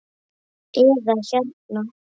eða hérna